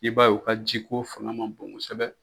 I b'a ye u ka jiko fanga man bon kosɛbɛ.